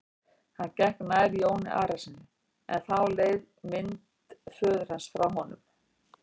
Hann gekk nær Jóni Arasyni en þá leið mynd föður hans frá honum.